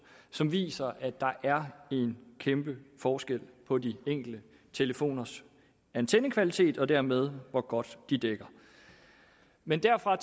som viser at der er en kæmpe forskel på de enkelte telefoners antennekvalitet og dermed hvor godt de dækker men derfra og